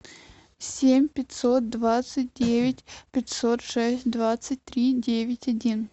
семь пятьсот двадцать девять пятьсот шесть двадцать три девять один